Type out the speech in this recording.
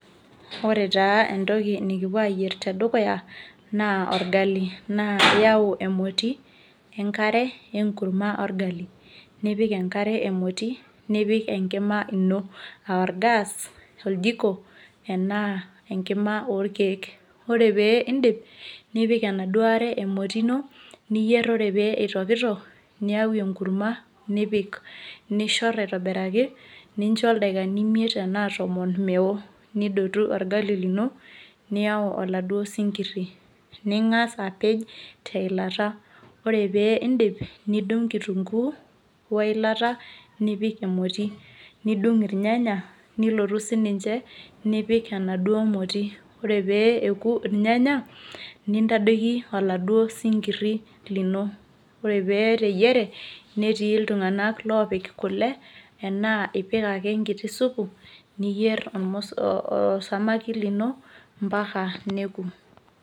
ore taa entoki nikipuo aayier tedukuya naa orgali.na iyau emoti ,enkare, enkurma orgali. nipik enkare emoti nipik enkima ino aa or gas oljiko, enaa enkima olkeek, ore pee idip nipik enaduo moti ino, niyier ore pee itokitok, niyau enkurma nipik. nishor aitobiraki, nicho ildaikani imiet enaa tomon, nidotu orgali lino niyau oladuoo sinkiri. ning'as apej teilata. ore pee idip nidung' kitunkuu. weilata nipik emoti. nidong' irnyanya, nilotu sii ninche nipik enaduo moti. ore pe eku irnyanya nintadoiki oldauo sinkiri lino. ore pee eteyiere netii iltunganak oopik kule, nikipik enkiti supu osamaki lino mpaka neku.